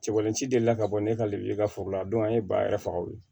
Cɛbalancila ka bɔ ne ka liberiya foro la an ye ba yɛrɛ faga o ye